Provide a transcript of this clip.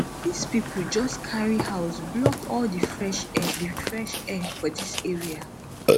dis pipo jus carry house block all di fresh air di fresh air for dis area